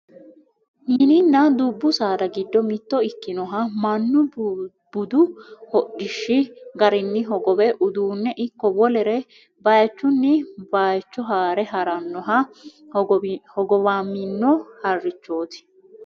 Mininna dubbu saada giddo mitto ikkinoha mannu budu hodhishshi garinni hogowe uduunne ikko wolere bayechunni bayecho haare haarannoha hogowamino harrichooti